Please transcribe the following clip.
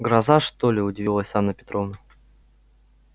гроза что ли удивилась анна петровна